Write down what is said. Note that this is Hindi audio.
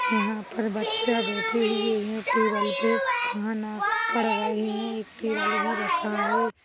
यहाँ पर बच्चा बैठे हुए है टेबल पे खाना पढ़ रहे है एक टेबल भी रखा है।